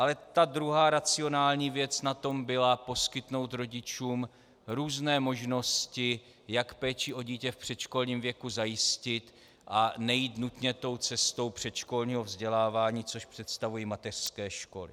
Ale ta druhá racionální věc na tom byla poskytnout rodičům různé možnosti, jak péči o dítě v předškolním věku zajistit a nejít nutně tou cestou předškolního vzdělávání, což představují mateřské školy.